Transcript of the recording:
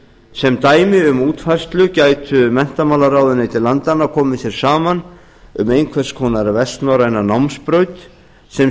sem dæmi um útfærslu gætu menntamálaráðuneyti landanna komið sér saman um einhvers konar vestnorræna námsbraut sem